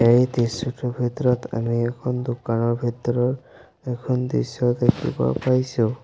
এই দৃশ্যটোৰ ভিতৰত আমি এখন দোকানৰ ভিতৰৰ এখন দৃশ্যও দেখিব পাইছোঁ।